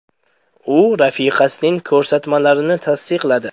U rafiqasining ko‘rsatmalarini tasdiqladi.